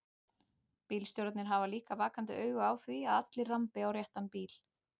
Bílstjórarnir hafa líka vakandi auga á því að allir rambi á réttan bíl.